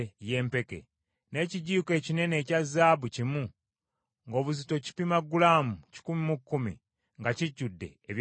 n’ekijiiko ekinene ekya zaabu kimu, ng’obuzito kipima gulaamu kikumi mu kkumi, nga kijjudde ebyakaloosa;